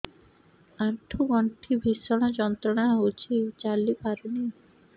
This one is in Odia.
ଆଣ୍ଠୁ ଗଣ୍ଠି ଭିଷଣ ଯନ୍ତ୍ରଣା ହଉଛି ଚାଲି ପାରୁନି